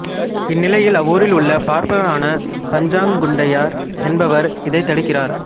இந்நிலையில் அவ்வூரிலுள்ள பார்ப்பனரான பஞ்சாங்கங் குண்டையர் என்பவர் இதைத் தடுக்கிறார்